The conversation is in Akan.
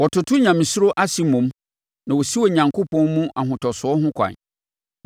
Wototo onyamesuro ase mmom na wosi Onyankopɔn mu ahotosoɔ ho ɛkwan.